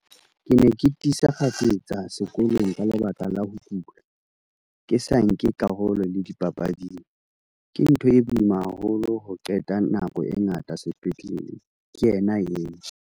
"Ke ne ke thisa kgafetsa sekolong ka lebaka la ho kula, ke sa nke karolo le dipapading. Ke ntho e boima haholo ho qeta nako e ngata sepetlele," ke yena eo.